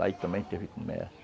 Lá ele também teve comércio.